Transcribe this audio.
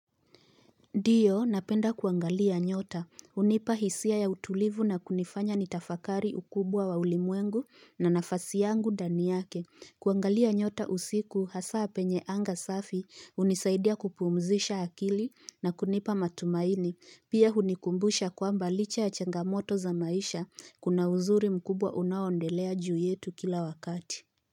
Diyo napenda kuangalia nyota hunipa hisia ya utulivu na kunifanya nitafakari ukubwa wa ulimwengu na nafasi yangu dani yake kuangalia nyota usiku hasa penye anga safi hunisaidia kupumzisha akili na kunipa matumaini pia hunikumbusha kwamba licha ya changamoto za maisha kuna uzuri mkubwa unaondelea juu yetu kila wakati.